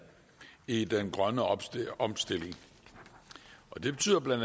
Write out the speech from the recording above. i den grønne omstilling omstilling det betyder bla